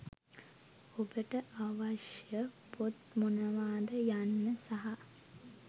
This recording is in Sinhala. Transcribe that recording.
ඔබට අවශ්‍ය පොත් මොනවාද යන්න සහ